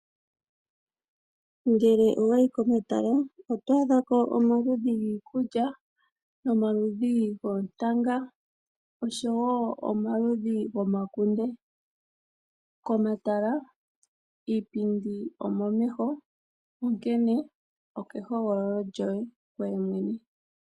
Ngele owayi komatala oto adhako omaludhi giikulya, nomaludhi goontanga, oshowo omaludhi gomakunde. Komatala iipindi omomeho, onkene okehogololo lyoye ngoye mwene.